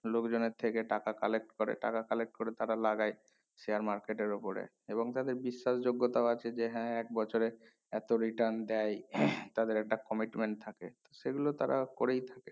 লোক জনের থেকে টাকা collect করে টাকা collect করে তারা লাগাই share market এর উপরে এবং তাদের বিশ্বাস যোগ্যতাও আছে যে হ্যাঁ এক বছরে এতো return দেয় তাদের একটা commitment থাকে সেগুলো তারা করে